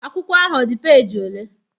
Akwụkwọ ahụ ọ dị peji ole?